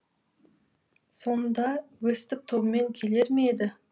сонда өстіп тобымен келер ме еді